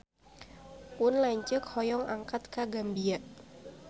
Pun lanceuk hoyong angkat ka Gambia